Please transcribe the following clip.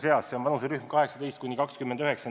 See on vanuserühm 18–29.